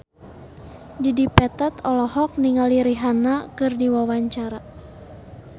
Dedi Petet olohok ningali Rihanna keur diwawancara